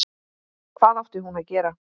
Hvað átti hún að gera?